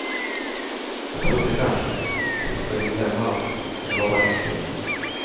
Jag trodde kanske att jag skulle glömma dom, men det var bara inbillning.